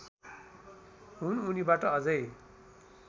हुन् उनीबाट अझै